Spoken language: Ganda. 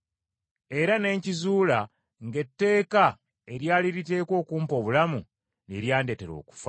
Era ne nkizuula ng’etteeka eryali liteekwa okumpa obulamu, lye lyandetera okufa.